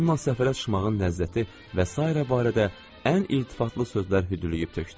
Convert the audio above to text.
Onunla səfərə çıxmağın ləzzəti və sairə barədə ən iltifatlı sözlər hüdürlüyüb tökdü.